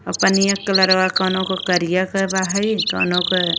पनिया के कलरवा कोनो का करिया बा है कोनो का --